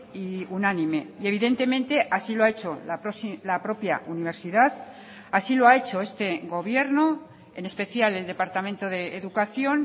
y unánime y evidentemente así lo ha hecho la propia universidad así lo ha hecho este gobierno en especial el departamento de educación